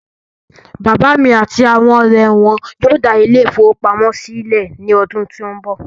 Bàbá mí àti àwọn ọrẹ wọn yóò dá ile-ìfowópamó sílẹ̀ ní ọdún tó n bọ̀